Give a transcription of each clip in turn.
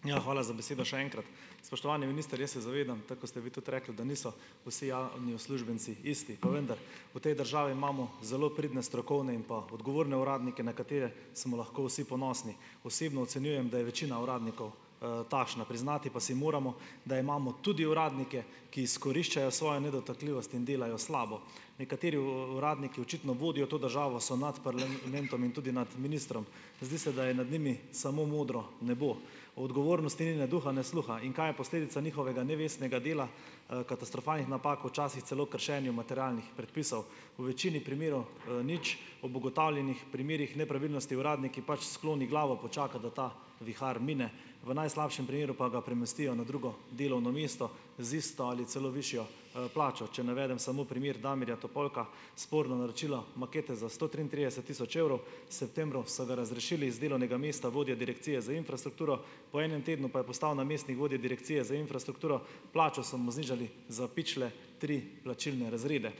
Ja, hvala za besedo še enkrat. Spoštovani minister, jaz se zavedam, tako kot ste vi tudi rekli, da niso vsi javni uslužbenci isti. Pa vendar, v tej državi imamo zelo pridne strokovne in pa odgovorne uradnike, na katere smo lahko vsi ponosni. Osebno ocenjujem, da je večina uradnikov, takšna. Priznati pa si moramo, da imamo tudi uradnike, ki izkoriščajo svojo nedotakljivost in delajo slabo. Nekateri uradniki očitno vodijo to državo, so nad parlamentom in tudi nad ministrom, zdi se, da je nad njimi samo modro nebo, o odgovornosti ni ne duha ne sluha. In kaj je posledica njihovega nevestnega dela, katastrofalnih napak, včasih celo kršenja materialnih predpisov - v večini primerov, nič. Ob ugotovljenih primerih nepravilnosti uradnik pač skloni glavo, počaka, da ta vihar mine, v najslabšem primeru pa ga premestijo na drugo delovno mesto z isto ali celo višjo, plačo. Če navedem samo primer Damirja Topolka, sporno naročilo makete za sto triintrideset tisoč evrov, septembru so ga razrešili iz delovnega mesta vodja Direkcije za infrastrukturo, po enem tednu pa je postal namestnik vodje Direkcije za infrastrukturo, plačo so mu znižali za pičle tri plačilne razrede.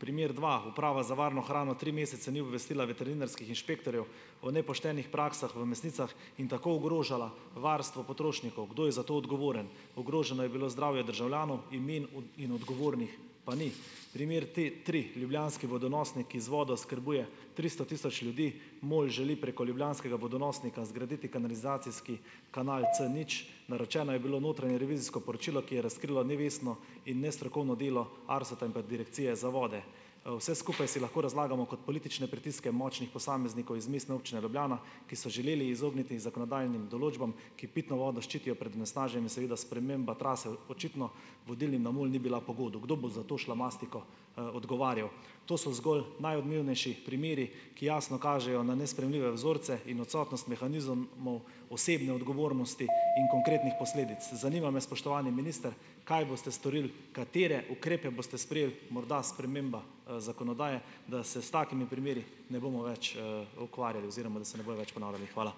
Primer dva, Uprava za varno hrano tri mesece ni obvestila veterinarskih inšpektorjev o nepoštenih praksah v mesnicah in tako ogrožala varstvo potrošnikov. Kdo je za to odgovoren? Ogroženo je bilo zdravje državljanov, imen in odgovornih pa ni. Primer tri, ljubljanski vodonosnik, ki z vodo oskrbuje tristo tisoč ljudi. MOL želi preko ljubljanskega vodonosnika zgraditi kanalizacijski kanal C nič. Naročeno je bilo notranje revizijsko poročilo, ki je razkrilo nevestno in nestrokovno delo ARSA in pa Direkcije za vode. vse skupaj si lahko razlagamo kot politične pritiske močnih posameznikov iz Mestne občine Ljubljana, ki so želeli izogniti zakonodajnim določbam, ki pitno vodo ščitijo pred onesnaženje. Seveda sprememba trase očitno vodilnim na MOL ni bila pogodu. Kdo bo za to šlamastiko, odgovarjal? To so zgolj najodmevnejši primeri, ki jasno kažejo na nesprejemljive vzorce in odsotnost mehanizmov osebne odgovornosti in konkretnih posledic. Zanima me, spoštovani minister: Kaj boste storili, katere ukrepe boste sprejeli, morda sprememba, zakonodaje, da se s takimi primeri ne bomo več, ukvarjali oziroma da se ne bojo več ponavljali. Hvala.